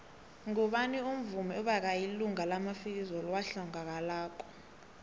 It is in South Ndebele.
ngubani umuvmi obekayilunga lemafikizo owahlangakalako